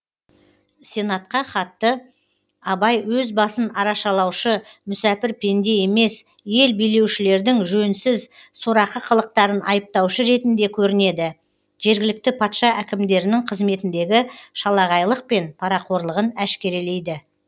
сенатқа хатта абай өз басын арашалаушы мүсәпір пенде емес ел билеушілердің жөнсіз сорақы қылықтарын айыптаушы ретінде көрінеді жергілікті патша әкімдерінің қызметіндегі шалағайлық пен парақорлығын әшкерелейді